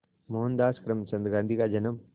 मोहनदास करमचंद गांधी का जन्म